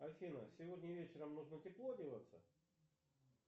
афина сегодня вечером нужно тепло одеваться